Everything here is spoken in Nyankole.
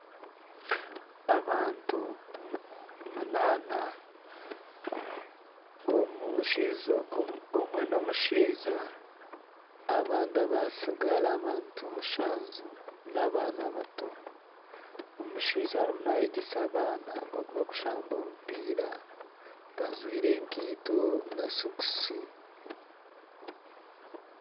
Abantu munaana omwe n'omushaija abandi abatsigara abantu mushanju n'abaana bato omushaija arimu nayegyesa abaana nka oku bakushamba omupiira, bajwaire ekaito na sokisi.